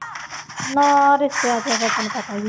ਨਾ ਰਿਸ਼ਤਿਆਂ ਚ ਫਿਰ ਤੈਨੂੰ ਪਤਾ ਹੀ ਹੈ